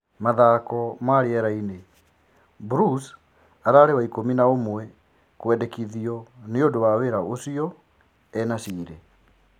(Mathako ma-rĩerainĩ) Mbrus 'ararĩ waikũmi na-ũmwe kwendekithio' nĩũndũ wa wĩra ũcio e-Nasile.